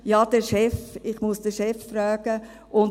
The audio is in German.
«Ja, ich muss den Chef fragen», und: